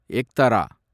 எக்டர